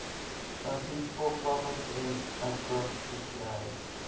some peaceful province in acrostic land